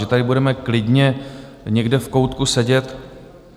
Že tady budeme klidně někde v koutku sedět?